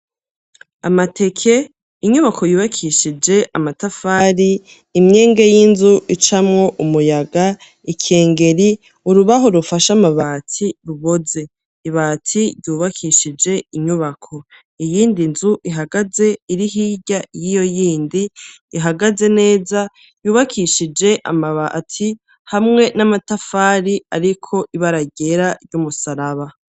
Amateke inyubako yubakishije amatafari imyenge y'inzu icamwo umuyaga ikengeri urubaho rufasha amabati ruboze ibati ryubakishije inyubako iyindi nzu ihagaze iri hirya y'iyo yindi ihagaze neza yubakishije amabati hamwe n'amatafari hariko ibara ryera ry'umusaraba.